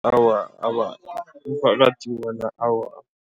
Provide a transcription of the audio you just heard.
Awa, umphakathi wona, awa.